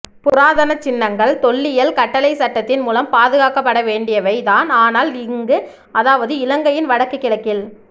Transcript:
புராதனச்சின்னங்கள் தொல்லியல் கட்டளைச்சட்டத்தின் மூலம் பாதுகாக்கப்படவேண்டியவை தான் ஆனால் இங்கு அதாவது இலங்கையின் வடக்கு கிழக்கில்